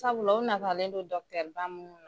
Sabula u natalen don ba mun